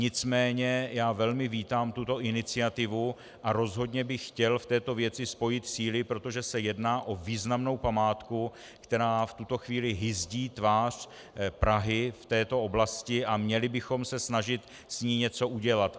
Nicméně já velmi vítám tuto iniciativu a rozhodně bych chtěl v této věci spojit síly, protože se jedná o významnou památku, která v tuto chvíli hyzdí tvář Prahy v této oblasti, a měli bychom se snažit s ní něco udělat.